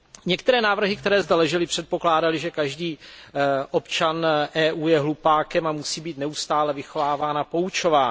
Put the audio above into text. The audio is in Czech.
Některé návrhy, které zde ležely, předpokládaly, že každý občan EU je hlupákem a musí být neustále vychováván a poučován.